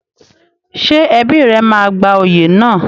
Ṣé ẹbí rẹ máa gba oyè náà?